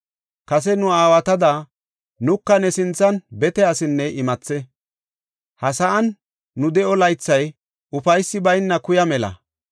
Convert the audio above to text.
Kase nu aawatada nuka ne sinthan bete asinne imathe. Ha sa7an nu de7o laythay ufaysi bayna kuya mela.